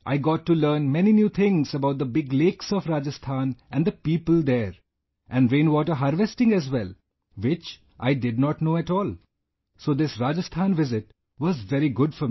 I got to learn many new things about the big lakes of Rajasthan and the people there, and rain water harvesting as well, which I did not know at all, so this Rajasthan visit was very good for me